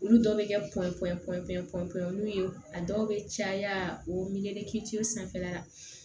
Olu dɔw bɛ kɛ pɔpoyanuw a dɔw bɛ caya o sanfɛla la